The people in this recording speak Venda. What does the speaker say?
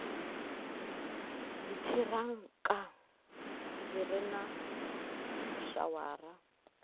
dziṱhirakha zwi re na shawara